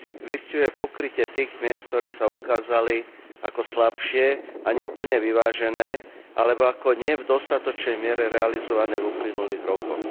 Vystihuje pokrytie tých miest, ktoré sa ukázali ako slabšie a nie plne vyvážené, alebo ako nie v dostatočnej miere realizované v uplynulých rokoch.